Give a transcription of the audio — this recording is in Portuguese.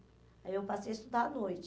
Aí eu passei a estudar à noite.